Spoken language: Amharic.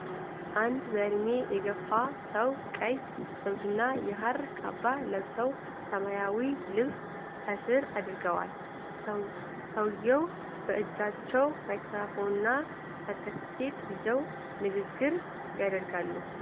አንድ በዕድሜ የገፉ ሰው ቀይ ዘውድና የሐር ካባ ለብሰው፣ ሰማያዊ ልብስ ከስር አድርገዋል። ሰውዬው በእጃቸው ማይክሮፎንና ሰርተፍኬት ይዘው ንግግር ያደርጋሉ።